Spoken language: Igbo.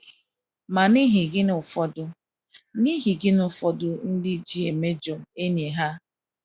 Ma n’ihi gịnị ụfọdụ n’ihi gịnị ụfọdụ ndị ji emejọ enyi ha?